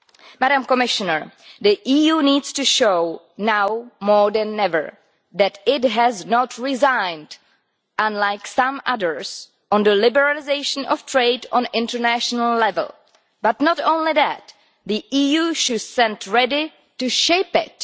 Madam Commissioner, the EU needs to show now, more than ever, that it has not resigned, unlike some others, on the liberalisation of trade at international level, but not only that, the EU should stand ready to shape it.